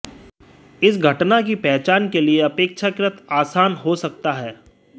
इस घटना की पहचान के लिए अपेक्षाकृत आसान हो सकता है